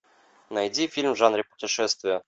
найди фильм в жанре путешествия